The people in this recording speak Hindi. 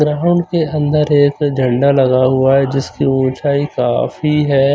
ग्राउंड के अंदर एक झंडा लगा हुआ है जिसकी उचाई काफी है।